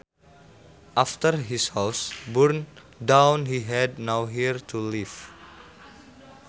After his house burned down he had nowhere to live